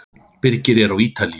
Birgir er á Ítalíu.